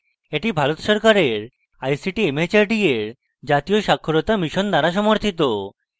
এটি ভারত সরকারের ict mhrd এর জাতীয় সাক্ষরতা mission দ্বারা সমর্থিত